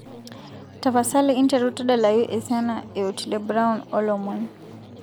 tapasali interu tedalayu esiana e otile brown o lomon